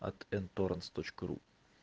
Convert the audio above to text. от н-торрентс точка ру